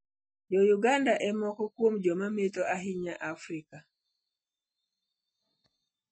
Jo - Uganda e moko kuom joma metho ahinya e Afrika.